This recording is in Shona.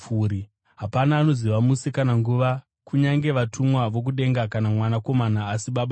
“Hapana anoziva musi kana nguva kunyange vatumwa vokudenga kana Mwanakomana, asi Baba chete.